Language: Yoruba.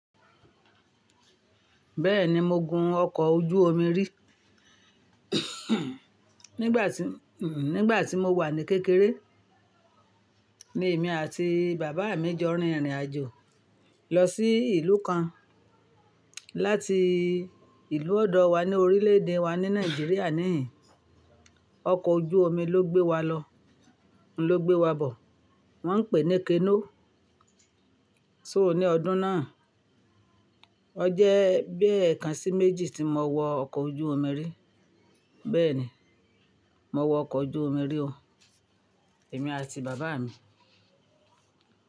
Bẹ́ẹ̀ni mo gun ọkọ̀ ojú omi rí. Nígbà tí, nígbà tí mo wà ní kékeré, ni èmi àti bàbá mi jọ rìn ìrìnàjò lọ sí ìlú kan láti ìlú ọ̀dọ̀ wa ní orílè-èdè wa ní Nàìjíríà níhìn-ìn. Ọkọ̀ ojú omi ló gbé wa lọ, ló gbé wa bọ̀. Wọ́n ń pèé ní kenóó. So ní ọdún náà, ọ jẹ́ bí ẹ̀kan sí méjì tí mo wọ ọkọ̀ ojú omi rí. Bẹ́ẹ̀ni, mo wọ ọkọ̀ ojú omi rí o, èmi àti bàbá mi.